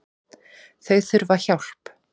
Þau þurfa hjálp